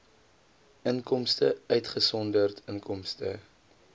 inkomste uitgesonderd inkomste